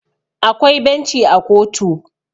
akwai benci a kotu